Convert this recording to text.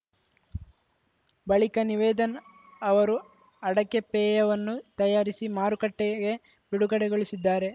ಬಳಿಕ ನಿವೇದನ್‌ ಅವರು ಅಡಕೆ ಪೇಯವನ್ನೂ ತಯಾರಿಸಿ ಮಾರುಕಟ್ಟೆಗೆ ಬಿಡುಗಡೆಗೊಳಿಸಿದ್ದಾರೆ